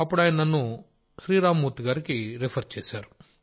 అప్పుడు ఆయన నన్ను శ్రీరామ్ మూర్తి గారికి రిఫర్ చేశారు